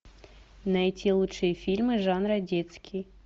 найти лучшие фильмы жанра детский